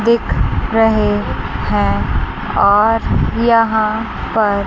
दिख रहे हैं और यहां पर--